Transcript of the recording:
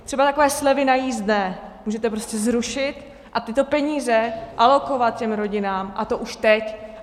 Třeba takové slevy na jízdné můžete prostě zrušit a tyto peníze alokovat těm rodinám, a to už teď.